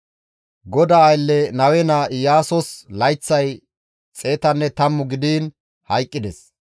GODAA aylle Nawe naa Iyaasos layththay 110 gidiin hayqqides;